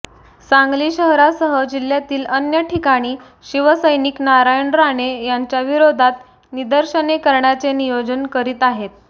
सांगली शहरासह जिल्ह्यातील अन्य ठिकाणी शिवसैनिक नारायण राणे यांच्या विरोधात निदर्शने करण्याचे नियोजन करीत आहेत